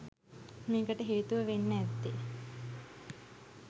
මේකට හේතුව වෙන්න ඇත්තේ